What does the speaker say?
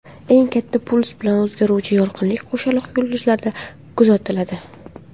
Eng katta puls bilan o‘zgaruvchi yorqinlik qo‘shaloq yulduzlarda kuzatiladi.